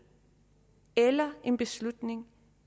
eller en beslutning